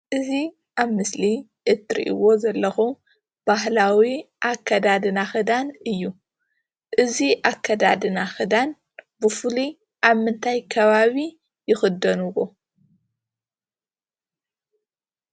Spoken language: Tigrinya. እዚ ኣብ ምስሊ እትርእይዎ ዘለኹም ባህላዊ ኣከዳድና ኽዳን እዩ። እዚ ኣከዳድነና ኽዳን ብፍሉይ ኣብ ምንታይ ከባቢ ይኽደንዎ?